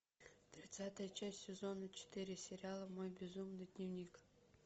тридцатая часть сезона четыре сериала мой безумный дневник